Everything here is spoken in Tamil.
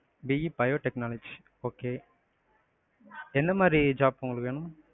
BE biotechnology okay. என்னமாதிரி job உங்களுக்கு வேணும்?